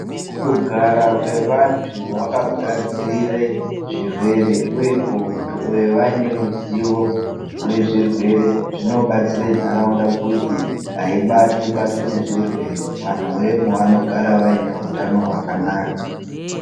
Kugara kwevantu wakagadzirira zvirwere uye kunge vaineruzivi yezvirwere uye kunge vaneruzivo rwezvirwere zvinobatsira nharaunda kuti hayibatwi nezvirwere vantuvemo vanogara vanehutano hwakanaka.